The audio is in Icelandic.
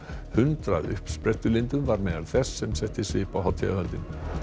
hundrað uppsprettulindum var meðal þess sem setti svip á hátíðahöldin